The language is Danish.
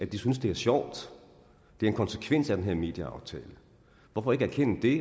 de synes det er sjovt det er en konsekvens af den her medieaftale hvorfor ikke erkende det